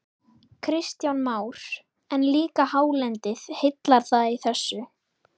Kristján Már: En líka hálendið, heillar það í þessu?